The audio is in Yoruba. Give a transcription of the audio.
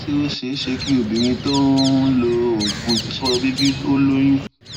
ṣé ó ṣeé ṣe kí obìnrin tó ń ń lo oògùn ifeto somo bìbí ó lóyún